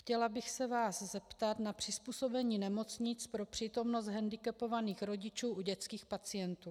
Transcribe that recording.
Chtěla bych se vás zeptat na přizpůsobení nemocnic pro přítomnost hendikepovaných rodičů u dětských pacientů.